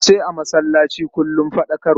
Zance a masallaci kullum faɗakarwa ce.